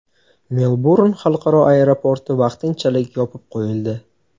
Melburn xalqaro aeroporti vaqtinchalik yopib qo‘yildi.